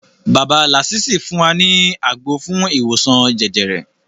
Bàbá làsísì fún wa ní àgbo fún ìwòsan jẹjẹrẹ